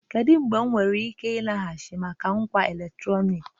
Kedu mgbe m nwere ike ịlaghachi maka ngwa eletrọnịkị?